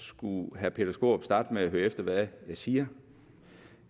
skulle herre peter skaarup starte med at høre efter hvad jeg siger